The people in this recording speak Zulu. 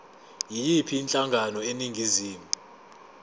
yiyiphi inhlangano eningizimu